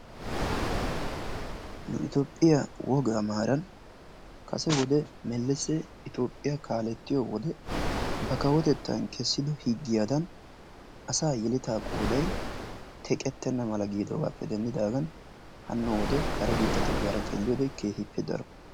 Nu itoophphiyaa wogaa maran kase wode melese toophphiyaa kaalettiyode ba kawotettan kesido higiyadan asa yeletta qooday teqetena mala gidogappe denddidagan hano wode kare biittatugara xeeliyode keehippe daro.